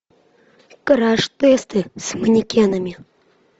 краш тесты с манекенами